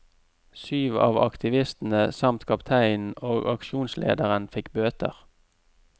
Syv av aktivistene samt kapteinen og aksjonslederen fikk bøter.